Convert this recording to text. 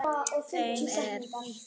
þeim er víða ratar